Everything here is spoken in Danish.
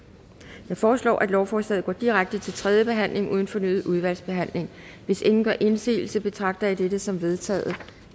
jeg foreslår at lovforslaget går direkte til tredje behandling uden fornyet udvalgsbehandling hvis ingen gør indsigelse betragter jeg det som vedtaget